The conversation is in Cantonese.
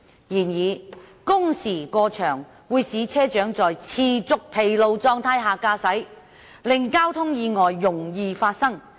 然而，工時過長會使車長在持續疲勞狀態下駕駛，令交通意外容易發生。